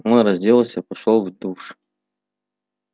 он разделся пошёл в душ